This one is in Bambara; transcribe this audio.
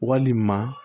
Walima